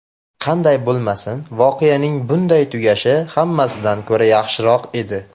Qanday bo‘lmasin, voqeaning bunday tugashi hammasidan ko‘ra yaxshiroq edi.